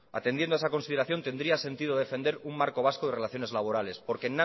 atendiendo a esa consideración tendría sentido defender un marco vasco de relaciones laborales porque